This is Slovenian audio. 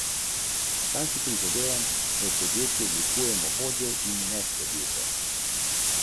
Keniči pravi, da se doma in v službi večinoma premika po vseh štirih.